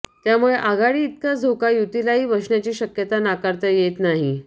त्यामुळे आघाडीइतकाच धोका युतीलाही बसण्याची शक्यता नाकारता येत नाही